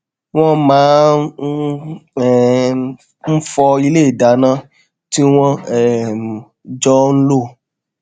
wón máa um ń fọ ilé ìdáná tí wón um jọ ń lò